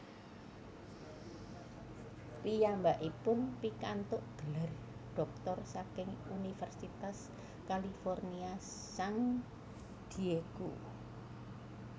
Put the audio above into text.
Piyambakipun pikantuk gelar dhoktor saking Universitas California San Diego